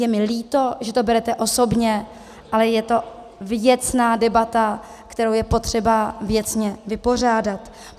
Je mi líto, že to berete osobně, ale je to věcná debata, kterou je potřeba věcně vypořádat.